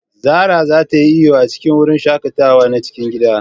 Zara za ta yi iyo a cikin wurin shaƙatawa na cikin gida.